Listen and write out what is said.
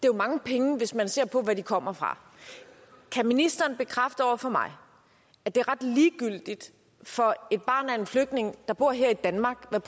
er mange penge hvis man ser på hvad de kommer fra kan ministeren bekræfte over for mig at det er ret ligegyldigt for et barn af en flygtning der bor her i danmark hvad